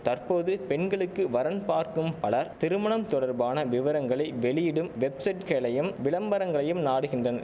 தற்போது பெண்களுக்கு வரன் பார்க்கும் பலர் திருமணம் தொடர்பான விவரங்களை வெளியிடும் வெப்செட்களையும் விளம்பரங்களையும் நாடுகின்றன